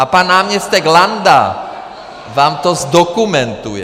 A pan náměstek Landa vám to zdokumentuje.